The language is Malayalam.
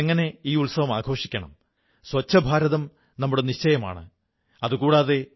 മൻ കീ ബാത്തിൽ മുമ്പും നാം സർദാർ പട്ടേലിനെക്കുറിച്ച് വിശദമായി സംസാരിച്ചിട്ടുണ്ട്